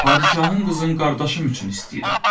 Padişahın qızın qardaşım üçün istəyirəm.